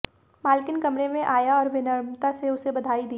मालकिन कमरे में आया और विनम्रता से उसे बधाई दी